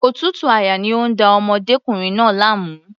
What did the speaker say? Òtútù àyà ni ó ń da ọmọdékùnrin náà láàmú.